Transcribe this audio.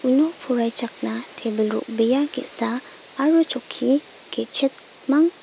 uno poraichakna tebil ro·bea ge·sa aro chokki ge·chetmang--